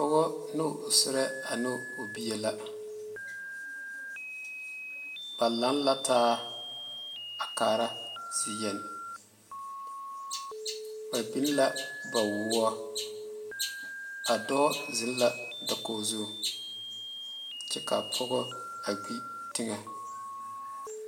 Pɔge ne o serɛ ane o bie la ba laŋa la taa a kaare zie yeni ba beŋe la kpawɔ a dɔɔ zeŋe la dakogi zu kyɛ ka pɔge gbee teŋa.